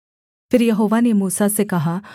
फिर यहोवा ने मूसा से कहा